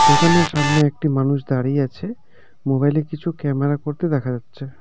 দোকানের সামনে একটি মানুষ দাঁড়িয়ে আছে মোবাইলে কিছু ক্যামেরা করতে দেখা যাচ্ছে।